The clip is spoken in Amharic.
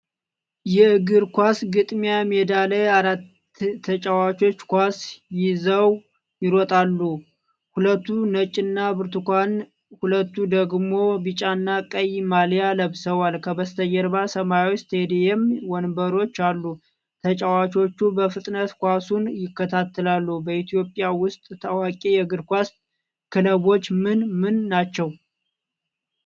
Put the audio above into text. የእግር ኳስ ግጥሚያ ሜዳ ላይ አራት ተጫዋቾች ኳስ ይዘው ይሮጣሉ። ሁለቱ ነጭና ብርቱካን፣ ሁለቱ ደግሞ ቢጫና ቀይ ማሊያ ለብሰዋል። ከበስተጀርባ ሰማያዊ ስታዲየም ወንበሮች አሉ። ተጫዋቾቹ በፍጥነት ኳሱን ይከተላሉ። በኢትዮጵያ ውስጥ ታዋቂ የእግር ኳስ ክለቦች ምን ምን ናቸው?